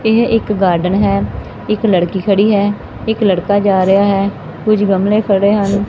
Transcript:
ਇਹ ਇੱਕ ਗਾਰਡਨ ਹੈ ਇੱਕ ਲੜਕੀ ਖੜੀ ਹੈ ਇੱਕ ਲੜਕਾ ਜਾ ਰਿਹਾ ਹੈ ਕੁਝ ਗਮਲੇ ਖੜੇ ਹਨ।